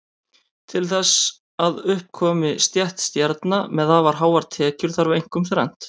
Til þess að upp komi stétt stjarna með afar háar tekjur þarf einkum þrennt.